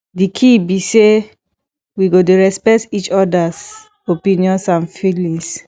di key be say we go dey respect each odas opinions and feelings